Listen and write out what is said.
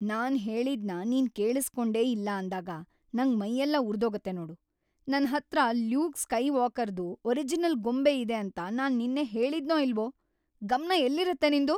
ನಾನ್‌ ಹೇಳಿದ್ನ ನೀನ್‌ ಕೇಳಿಸ್ಕೊಂಡೇ ಇಲ್ಲ ಅಂದಾಗ ನಂಗ್ ಮೈಯೆಲ್ಲ ಉರ್ದೋಗತ್ತೆ ನೋಡು. ನನ್ಹತ್ರ ಲ್ಯೂಕ್ ಸ್ಕೈವಾಕರ್‌ದು ಒರಿಜಿನಲ್‌ ಗೊಂಬೆ ಇದೆ ಅಂತ ನಾನ್ ನಿನ್ನೆ ಹೇಳಿದ್ನೋ ಇಲ್ವೋ? ಗಮ್ನ ಎಲ್ಲಿರತ್ತೆ ನಿಂದು?!